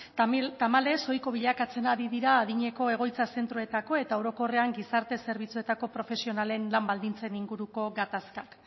tamalez ohiko bilakatzen ari dira adinekoen egoitza zentroetako eta orokorrean gizarte zerbitzuetako profesionalen lan baldintzen inguruko gatazkak